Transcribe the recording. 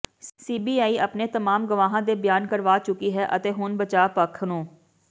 CBI ਆਪਣੇ ਤਮਾਮ ਗਵਾਹਾਂ ਦੇ ਬਿਆਨ ਕਰਵਾ ਚੁੱਕੀ ਹੈ ਅਤੇ ਹੁਣ ਬਚਾਵ ਪੱਖ ਨੂੰ